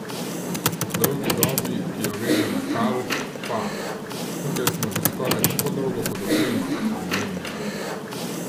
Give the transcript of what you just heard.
O dolgi dobi, ki jo veže na Kal, pa: "Tukaj smo že skoraj tako dolgo kot oprema," je namignila.